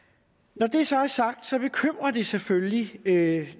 når det så er sagt så bekymrer det selvfølgelig at